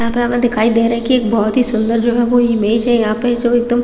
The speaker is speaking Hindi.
यहाँ पर हमें दिखाई दे रहा है कि एक बहोत ही सुंदर जो है वो इमेज है यहाँ पे जो है एकदम --